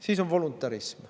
Siis on voluntarism.